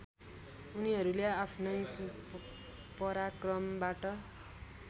उनीहरूले आफ्नै पराक्रमबाट